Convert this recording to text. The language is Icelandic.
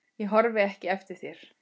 Ég horfi ekki eftir þér.